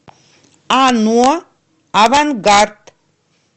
ано авангард